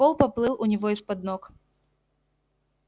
пол поплыл у него из-под ног